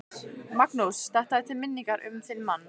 Magnús: Þetta er til minningar um þinn mann?